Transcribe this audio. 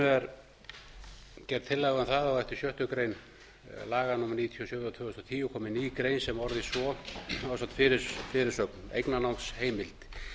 er gerð tillaga um að á eftir sjöttu grein laga númer níutíu og sjö tvö þúsund og tíu komi ný grein sem orðist svo á samt fyrirsögn eignarnámsheimild